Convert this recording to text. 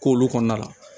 K'olu kɔnɔna la